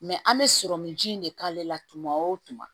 an bɛ sɔrɔmunji in de k'ale la tuma o tuma